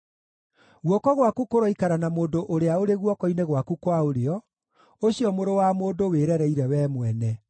Guoko gwaku kũroikara na mũndũ ũrĩa ũrĩ guoko-inĩ gwaku kwa ũrĩo, ũcio mũrũ wa mũndũ wĩrereire wee mwene.